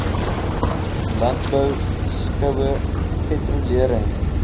landbou skoue patrolering